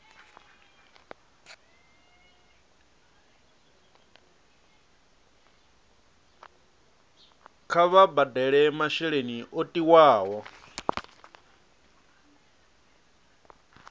kha vha badele masheleni o tiwaho